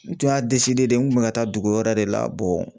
N tun y'a n kun bɛ ka taa dugu wɛrɛ de la